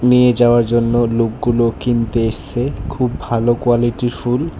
নিয়ে যাওয়ার জন্য লোকগুলো কিনতে এসসে খুব ভালো কোয়ালিটির ফুল।